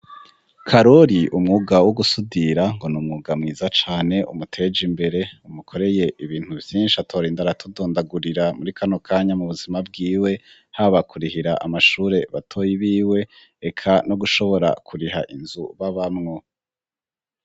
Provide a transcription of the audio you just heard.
Karori, umwuga wo gusudira ngo n'umwuga mwiza cane umuteje imbere, umukoreye ibintu vyinshi atorinda aratudondagurira muri kano kanya, mu buzima bwiwe, haba kurihira amashure batoyi biwe, reka no gushobora kuriha inzu babamwo.